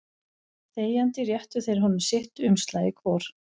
Þegjandi réttu þeir honum sitt umslagið hvor.